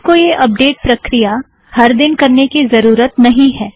आपको यह अपडेट प्रक्रिया हर दिन करने की ज़रुरत नहीं है